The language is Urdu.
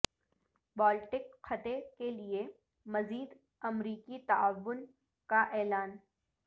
بالٹک خطے کے لیے مزید امریکی تعاون کا اعلان